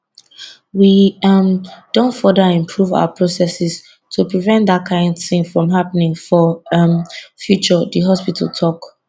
we um don further improve our processes to prevent dat kain tin from happening for um future di hospital tok